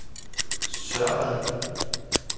Sørvad